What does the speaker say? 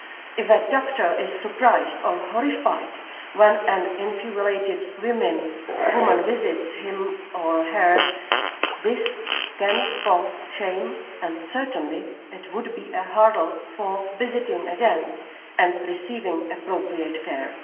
If a doctor is surprised or horrified when an infibulated woman visits him or her, this can cause shame and certainly it would be a hurdle for visiting again and receiving appropriate care.